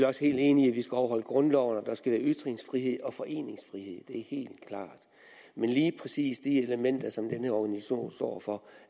også helt enig i at vi skal overholde grundloven og at der skal være ytringsfrihed og foreningsfrihed det er helt klart men lige præcis de elementer som den her organisation står for